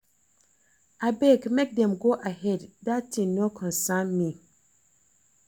Abeg make dem go ahead dat thing no concern me